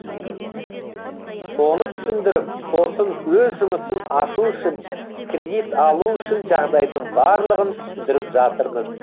соны түсіндіріп сосын өз жұмысын ашу үшін кредит алу үшін жағдайдың барлығын түсіндіріп жатырмыз